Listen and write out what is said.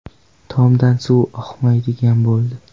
Tomdan suv o‘tmaydigan bo‘ldi.